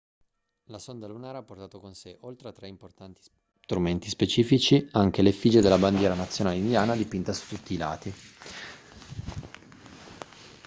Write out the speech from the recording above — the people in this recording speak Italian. la sonda lunare ha portato con sé oltre a tre importanti strumenti scientifici anche l'effigie della bandiera nazionale indiana dipinta su tutti i lati